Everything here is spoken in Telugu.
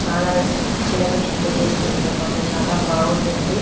చాల సెలబ్రేషన్ గ చేసుకుంటారు అనమాట చాల బాగుంటుంది